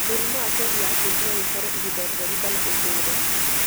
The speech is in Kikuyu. Mũrimũ wa psoriasis no wĩikare ihinda rĩraihu o kana ũtũũre.